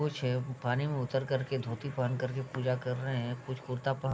कुछ पानी में उतर कर के धोती पहन कर के पूजा कर रहे है कुछ कुर्ता पहन --